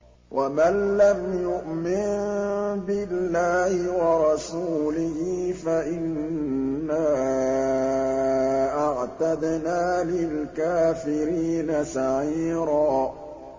وَمَن لَّمْ يُؤْمِن بِاللَّهِ وَرَسُولِهِ فَإِنَّا أَعْتَدْنَا لِلْكَافِرِينَ سَعِيرًا